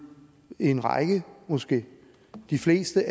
en række måske de fleste